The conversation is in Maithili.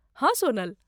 हँ, सोनल।